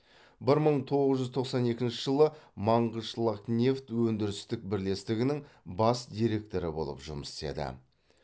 бір мың тоғыз жүз тоқсан екінші жылы мангышлакнефть өндірістік бірлестігінің бас директоры болып жұмыс істеді